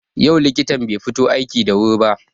Yau likitan bai fito aiki da wuri ba.